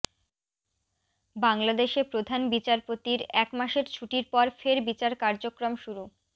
বাংলাদেশে প্রধান বিচারপতির এক মাসের ছুটির পর ফের বিচার কার্যক্রম শুরু